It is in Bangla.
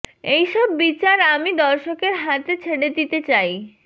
এই সব বিচার আমি দর্শকের হাতে ছেড়ে দিতে চাই